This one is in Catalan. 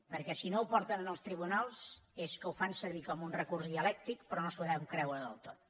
perquè si no ho porten als tribunals és que ho fan servir com un recurs dialèctic però no s’ho deuen creure del tot